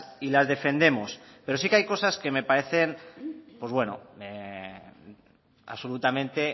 y las defendemos pero sí que hay cosas que me parecen pues bueno absolutamente